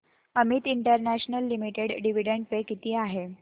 Amit international limited dividend pay किती आहे